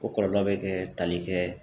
O kɔlɔlɔ bɛ kɛ tali kɛ.